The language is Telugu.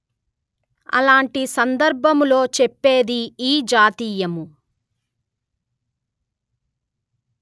అలాంటి సందర్బములొ చేప్పేది ఈ జాతీయము